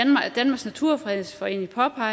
har